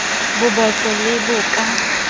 bo botlo le bo ka